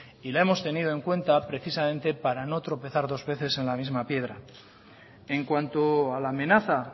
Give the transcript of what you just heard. y la hemos tenido en cuenta precisamente para no tropezar dos veces en la misma piedra en cuanto a la amenaza